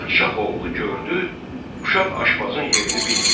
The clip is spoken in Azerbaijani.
Padşah oğlu gördü, uşaq aşbazın yerini bilmir.